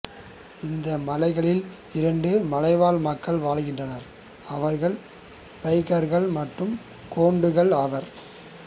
இந்த மலைகளில் இரண்டு மலைவாழ் மக்கள் வாழ்கின்றனர் அவர்கள் பைகர்கள் மற்றும் கோண்டுகள் ஆவர்